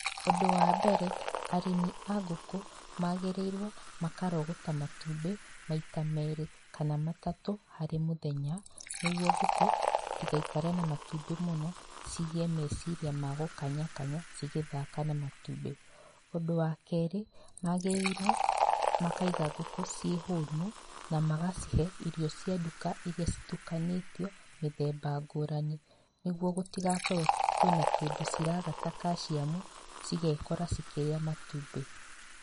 Ũndũ wa mbere arĩmi a ngũkũ, magĩrĩirwo makarogota matumbi, maita merĩ, kana matatũ harĩ mũthenya, nĩguo ngũkũ citigaikare na matumbĩ mũno, cigĩe meciria ma gũkanya kanya cigĩthaka na matumbĩ. Ũndũ wa kerĩ, magĩrĩirwo makaiga ngũkũ ciĩ hũnu, na magacihe irio cia ndũka iria citukanĩtio mĩthemba ngũrani, nĩguo gũtigakorwo kwĩna kĩndũ ciraga ta calcium cigekora cikĩrĩa matumbĩ.